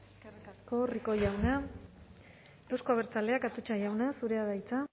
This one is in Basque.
eskerrik asko rico jauna euzko abertzaleak atutxa jauna zurea da hitza